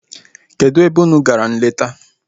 Kedụ ebe unu gara nleta?